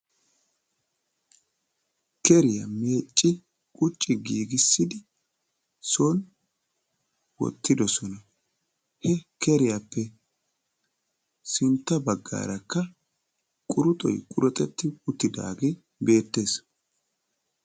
keriya meecci qucci giigissidi son wottidosona. he keriyappe sinntta bagaarakka quruxxoy quruxxeti uttidaaagee beettees.